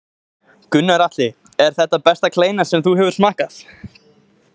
Gunnar Atli: Er þetta besta kleina sem þú hefur smakkað?